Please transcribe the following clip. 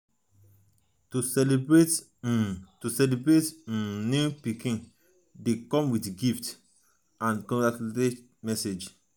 to celebrate um to celebrate um newborn pikin de come with gifts um and um congratutlaion messages